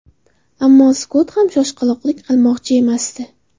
Ammo Skott ham shoshqaloqlik qilmoqchi emasdi.